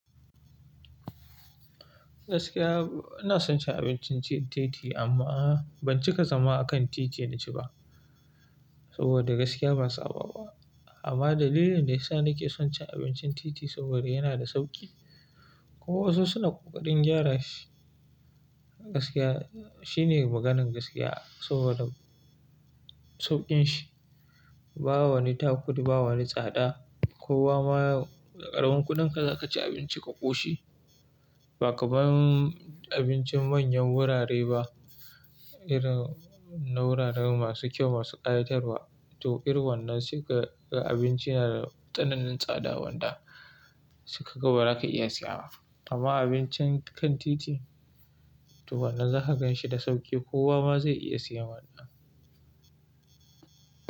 Gaskiya ina son cin abincin titi amma ban cika zama a kan titi na ci ba saboda gaskiya ban saba ba. Amma dalilin da ya sa nake son cin abincin titi saboda yana da sauƙi. Ko wasu suna kokarin gyara shi. Gaskiya shine maganan gaskiya saboda sauƙin shi. Ba wani takudi, ba wani tsada. Ko wa ma da ƙaramin kuɗinka za ka ci abinci ka ƙoshi. Ba kamar abincin manyan gurare ba irin na guraren masu kyau masu ƙayatarwa. To irin wannan sai ka ga abinci yana da tsananin tsada wanda sai ka ga ba za ka iya siya ba. Amma abincin kan titi to wannan za ka ganshi da sauƙi kowa ma zai iya siyan wannan.